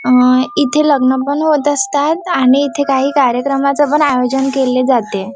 अं इथे लग्न पण होत असतात आणि इथे काही कार्यक्रमाचं पण आयोजन केले जाते.